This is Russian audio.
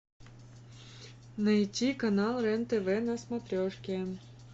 найти канал рен тв на смотрешке